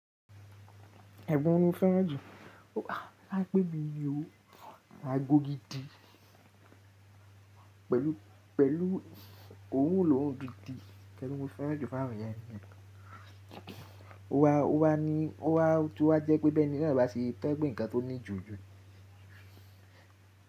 Ẹ̀gbọ́n mo fẹ́ràn ju, toba ẹ́ pe bí óò ra agò gìdí pẹ̀lú òwú lohun gidi nkan ti mo fẹ́ràn ju fún áwọn yẹn ni yẹn. Ó wa ní, ó wa tu wá jẹ́ pé bẹ́ẹ̀ ni náà báa ṣe to ẹ pé ǹkan tó ní jù jú.